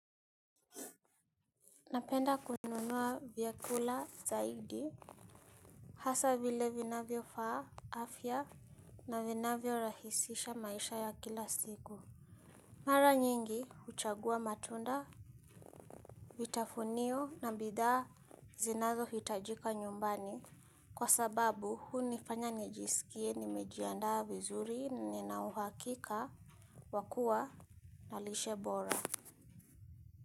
Napenda kununua vyakula zaidi hasa vile vinavyofaa afya na vinavyorahisisha maisha ya kila siku. Mara nyingi huchagua matunda, vitafunio na bidhaa zinazohitajika nyumbani kwa sababu hunifanya nijisikie nimejiandaa vizuri na nina uhakika. Wa kuwa na lishe bora.